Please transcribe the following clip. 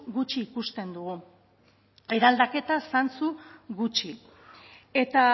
gutxi ikusten dugu eraldaketa zantzu gutxi etaa